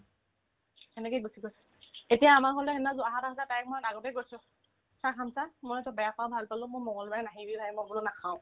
সেনেকে গুচি গৈছে এতিয়া আমাৰ ঘৰলে সেইদিনা যো আহাৰ কথা তাইক মই আগতে কৈছো চা খামচা মই তোক বেয়া পাও ভাল পালেও মোৰ মংগলবাৰে নাহিবি bhai মই বোলো নাখাও